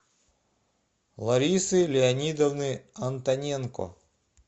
ларисы леонидовны антоненко